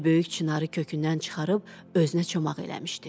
Bir böyük çinarı kökündən çıxarıb özünə çomaq eləmişdi.